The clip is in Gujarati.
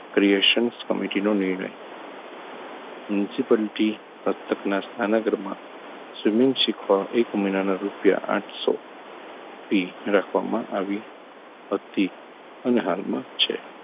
Creationcommity નું નિર્માણ municipality હસ્તક ના સ્નાનાગર મ swimming શીખવા એક મહિનાના રૂપિયા આઠ સો ફી રાખવામાં આવી હતી અને હાલમાં છે